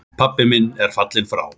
Pabbi minn er fallinn frá.